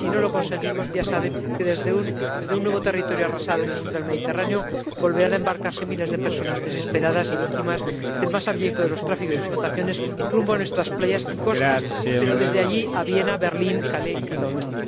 Si no lo conseguimos, ya saben que desde un nuevo territorio arrasado en el sur del Mediterráneo volverán a embarcarse miles de personas desesperadas y víctimas del más abyecto de los tráficos y explotaciones, rumbo a nuestras playas y costas, pero desde allí a Viena, Berlín, Calais y Londres.